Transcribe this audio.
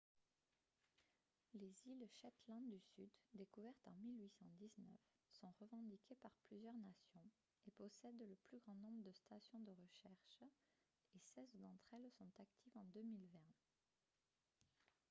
les îles shetland du sud découvertes en 1819 sont revendiquées par plusieurs nations et possèdent le plus grand nombre de stations de recherche et seize d'entre elles sont actives en 2020